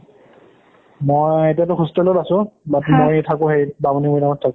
মই এতিয়াটো hostel ত আছো but মই থাকো সেইত বামুনিমইদামত থাকো